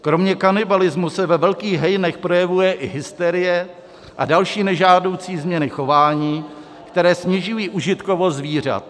Kromě kanibalismu se ve velkých hejnech projevuje i hysterie a další nežádoucí změny chování, které snižují užitkovost zvířat.